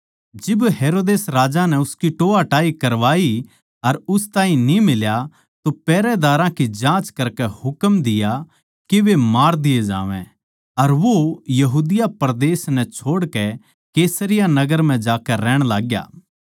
जिब हेरोदेस राजा नै उसकी टोहयाटाही करवाई अर न्ही मिल्या तो पैहरेदारां की जाँच करकै हुकम दिया के वे मार दिये जावैं अर वो यहूदा परदेस नै छोड़कै कैसरिया नगर म्ह जाकै रहण लाग्या